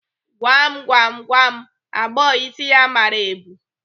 Gwam gwam, gwa m agbọghọ isi ya mara ebu?